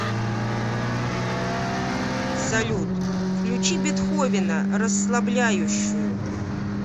салют включи бетховена расслабляющую